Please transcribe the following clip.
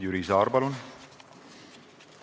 Jüri Saar, palun!